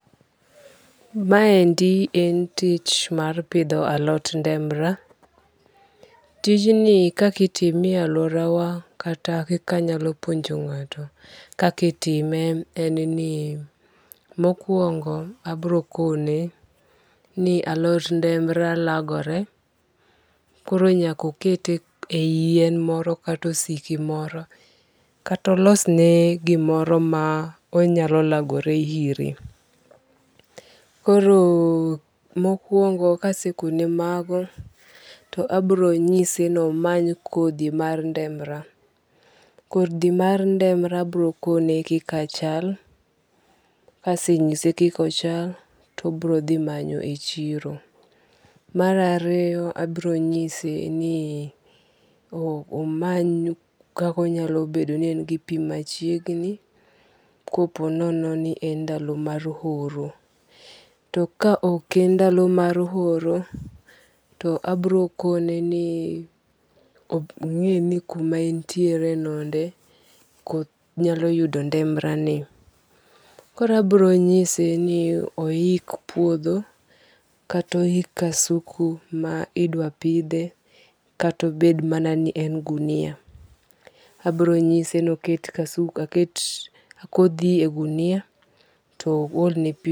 Maendi en tich mar pitho alot ndemra, tijni kaka itime e aluorawa kata kaka anyalo puonjo nga'to kaka itime en ni mokuongo' abrokone ni alot ndemra lagore koro nyakokete yien moro kata osiki moro kata olosne gimoro ma onyalo lagore ire, koro mokuongo' kasekone mago to abironyise ni omany kothi mar ndemra, kothi mar ndemra abiro kone kika chal, kasenyise kika ochal to abiro thi manyo e chiro. Mar ariyo abro nyise ni omany kako onyalo bedo ni en gi pi machiegni ko po nononi en ndalo mar oro to ka ok en ndalo mar oro to abrokoneni onge'ni kuma en tiere gode koth nyalo yudo ndemra ni, koro abrinyise ni ohik puotho kata ohik kasuku ma idwa pithe kata obed mana ni en gunia, abronyise ni oket kothi e gunia to oholne pi.